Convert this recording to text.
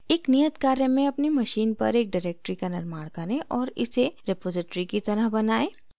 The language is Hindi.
एक नियत कार्य मेंअपनी machine पर एक directory का निर्माण करें और इसे repository की तरह बनाएं